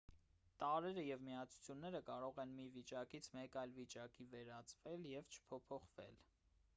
տարրերը և միացությունները կարող են մի վիճակից մեկ այլ վիճակի վերածվել և չփոփոխվել